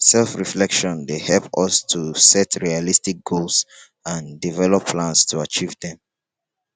self-reflection dey help us to set realistic goals and develop plans to achieve dem.